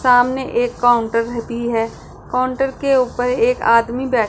सामने एक काउंटर रहती है काउंटर के ऊपर एक आदमी बै --